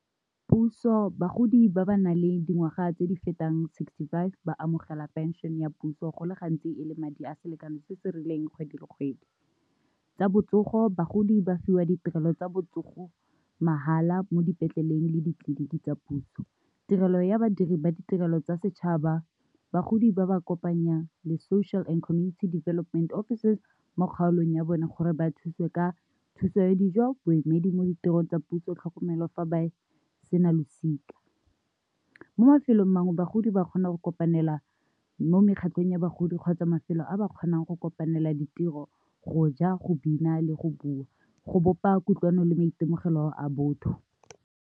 Puso bagodi ba ba nang le dingwaga tse di fetang sixty five ba amogela pension ya puso go le gantsi e le madi a selekano se se rileng kgwedi le kgwedi. Tsa botsogo, bagodi ba fiwa ditirelo tsa botsogo mahala mo dipetleleng le ditleliniki tsa puso, tirelo ya badiri ba ditirelo tsa setšhaba bagodi ba ba kopanya le social and community development officers mo kgaolong ya bone gore ba thusiwe ka thuso ya dijo, boemedi mo ditirong tsa puso, tlhokomelo fa ba sena losika. Mo mafelong a mangwe bagodi ba kgona go kopanela mo mekgatlhong ya bagodi kgotsa mafelo a ba kgonang go kopanela ditiro, go ja, go bina, le go bua go bopa kutlwano le maitemogelo a botho.